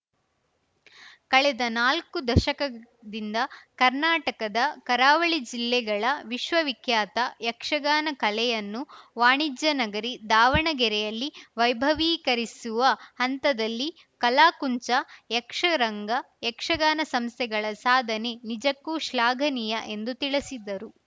ಕಳೆದ ನಾಲ್ಕು ದಶಕದಿಂದ ಕರ್ನಾಟಕದ ಕರಾವಳಿ ಜಿಲ್ಲೆಗಳ ವಿಶ್ವವಿಖ್ಯಾತ ಯಕ್ಷಗಾನ ಕಲೆಯನ್ನು ವಾಣಿಜ್ಯ ನಗರಿ ದಾವಣಗೆರೆಯಲ್ಲಿ ವೈಭವೀಕರಿಸುವ ಹಂತದಲ್ಲಿ ಕಲಾಕುಂಚ ಯಕ್ಷರಂಗ ಯಕ್ಷಗಾನ ಸಂಸ್ಥೆಗಳ ಸಾಧನೆ ನಿಜಕ್ಕೂ ಶ್ಲಾಘನೀಯ ಎಂದು ತಿಳಿಸಿದರು